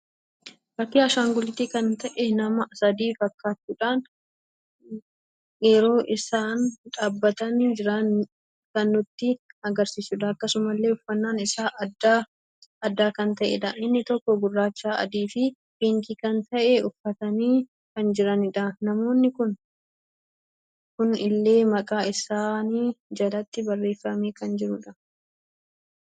Fakkii Ashaangullitii kan ta'ee nama sadii fakkachuudhan yeroo isaan dhabbatani jiran kan nutti agarsiisudha. Akkasumallee uffannan isaan addaa, addaa kan ta'edha. inni tokko gurraacha, adii fi piinkii kan ta'e uffatani kan jiranidha Namoonni kuni illee maqaa isaani jalatti barreeffame kan jirudha.